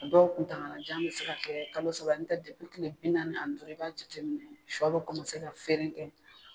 A dɔw tuntagalajan be se ka kalo saba n tɛ depi kile bi naani ani duuru i b'a jate minɛ sɔ be kɔmase ka feeren kɛ